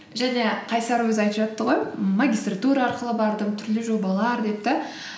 жаңа қайсар өзі айтып жатты ғой м магистратура арқылы бардым түрлі жобалар деп те